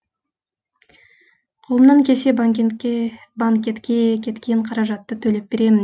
қолымнан келсе банкетке кеткен қаражатты төлеп беремін